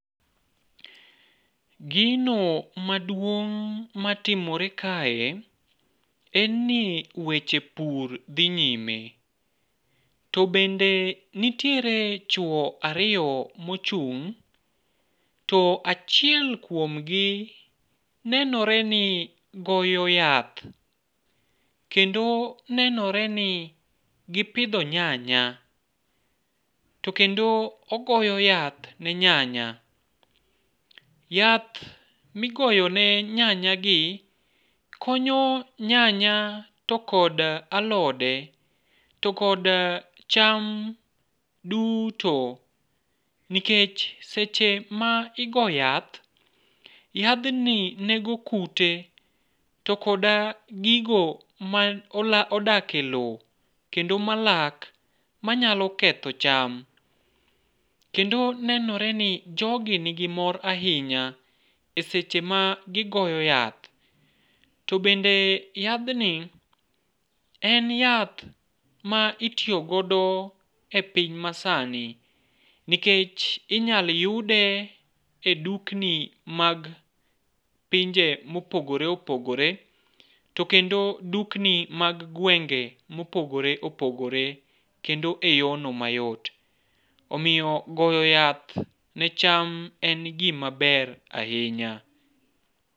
Gino maduong' matimore kae en ni weche pur dhi nyime, to bende nitiere chuwo ariyo mochung' to achiel kuom gi nenore ni goyo yath ,kendo nenore ni gipidho nyanya, to kendo ogoyo yath ne nyanya. yath migoyone nyanyagi konyo nyanya to kod alode to kod alode duto nikech seche ma igo yath, yadhni nego kute to kod gigo modak e lowo kendo malak manyalo ketho cham, kendo nenore ni jogi nigi mor ahinya e seche magiyo yath, to bende yadhni en yath ma itiyo godo e piny masani nikech inyalo yude e dukni mag pinje mopogore opogore to kendo dukni mag gwenge mopogore opogore, kendo e yorno mayot. Omiyo goyo yath ne cham en gimaber ahinya.